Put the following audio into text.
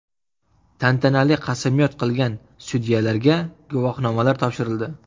Tantanali qasamyod qilgan sudyalarga guvohnomalar topshirildi.